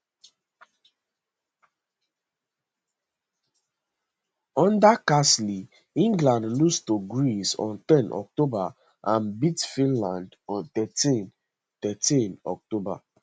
under carsley england lose to greece on ten october and beat finland on thirteen thirteen october